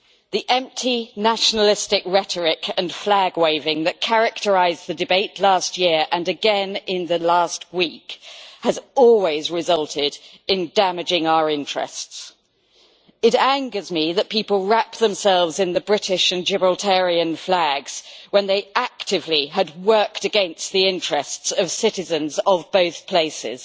The empty nationalistic rhetoric and flag-waving that characterised the debate last year, and again in the last week, has always resulted in damaging our interests. It angers me that people wrap themselves in the British and Gibraltarian flags when they had actively worked against the interests of citizens of both places.